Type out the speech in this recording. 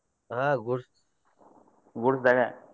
ಹಾ goods goods ದಾಗ.